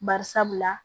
Bari sabula